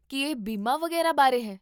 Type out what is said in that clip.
ਕੀ ਇਹ ਬੀਮਾ ਵਗ਼ੈਰਾ ਬਾਰੇ ਹੈ?